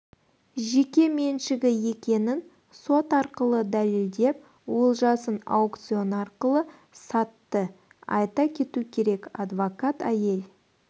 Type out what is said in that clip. жеке меншігі екенін сот арқылы дәлелдеп олжасын аукцион арқылы сатты айта кету керек адвокат әйел